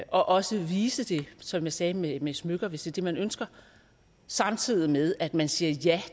og også vise det som jeg sagde med med smykker hvis det er det man ønsker samtidig med at man siger ja